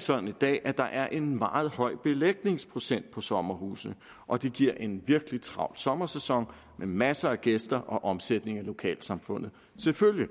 sådan at der er en meget høj belægningsprocent på sommerhuse og det giver en virkelig travl sommersæson med masser af gæster og omsætning til lokalsamfundet selvfølgelig